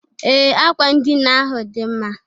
Ee! Akwa ndịna ahụ dị mma.